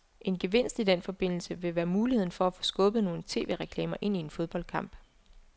En gevinst i den forbindelse vil være muligheden for at få skubbet nogle tv-reklamer ind i en fodboldkamp.